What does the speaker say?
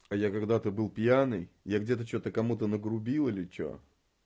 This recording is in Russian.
а я когда-то был пьяный я где-то что-то кому-то нагрубил или что